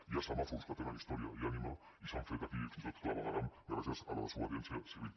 hi ha semàfors que tenen història i ànima i s’han fet aquí fins i tot clavegueram gràcies a la desobediència civil